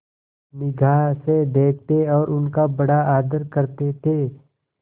निगाह से देखते और उनका बड़ा आदर करते थे